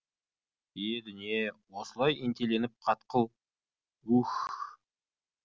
е дүние осылай ентелеген қатқыл үһ